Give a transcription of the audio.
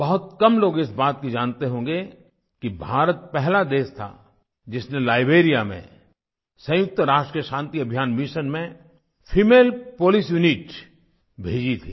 बहुत कम लोग इस बात को जानते होंगे कि भारत पहला देश था जिसने लाइबेरिया में संयुक्त राष्ट्र के शांतिअभियान मिशन में फेमले पोलिस यूनिट भेजी थी